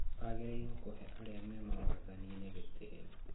Agĩrĩirwo kũhe arĩa me wathani-inĩ gĩtĩĩo